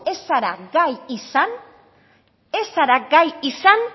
ez zara gai izan ez zara gai izan